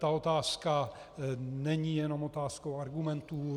Ta otázka není jenom otázkou argumentů.